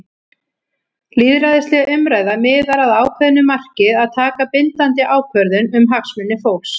Lýðræðisleg umræða miðar að ákveðnu marki- að taka bindandi ákvörðun um hagsmuni fólks.